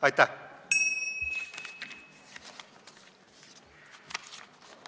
" Aitäh!